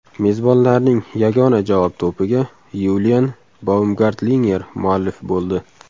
Mezbonlarning yagona javob to‘piga Yulian Baumgartlinger muallif bo‘ldi.